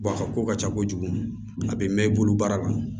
a ka ko ka ca kojugu a bɛ mɛn i bolo baara la